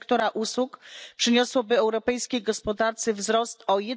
sektora usług, przyniosłyby europejskiej gospodarce wzrost o